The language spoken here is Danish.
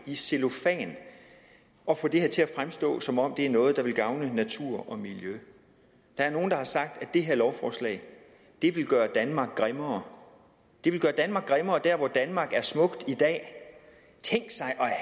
i cellofan og få det her til at fremstå som om det er noget der vil gavne naturen og miljøet der er nogle der har sagt at det her lovforslag vil gøre danmark grimmere det vil gøre danmark grimmere der hvor danmark er smukt i dag tænk